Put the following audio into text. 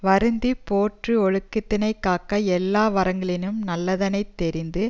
வருந்தி போற்றி யொழுக்கத்தினைக் காக்க எல்லா வறங்களினும் நல்லதனைத் தெரிந்து